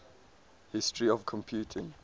history of computing